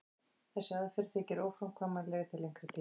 þessi aðferð þykir óframkvæmanleg til lengri tíma